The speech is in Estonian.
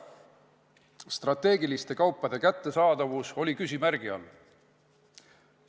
Strateegiliste kaupade kättesaadavus oli küsimärgi all.